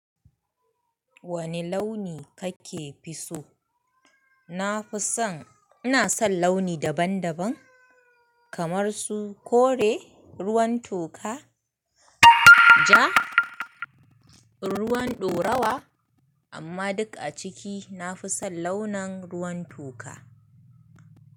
Wani launi kake fi so? Na fi son, ina son launi daban daban kamar su kore, ruwan toka, ja, ruwan ɗorawa amma duk a ciki nafi son launin ruwan toka.